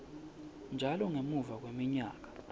njalo ngemuva kweminyaka